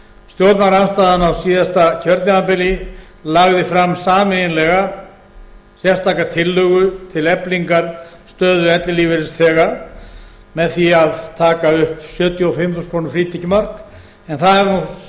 stjórnarandstaðan á síðasta kjörtímabili lagði fram sameiginlega sérstaka tillögu til eflingar stöðu ellilífeyrisþega með því að taka upp sjötíu og fimm þúsund króna frítekjumark en það hefur nú